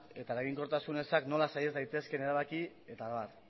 eta eraginkortasun ezak nola saiez daitezke erabaki eta abar